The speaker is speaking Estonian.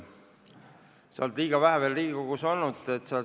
Sa oled veel liiga vähe aega Riigikogus olnud.